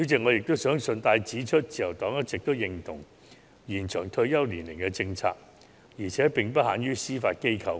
我想順帶指出，自由黨一直認同延長退休年齡的政策，而且並不限於司法機構。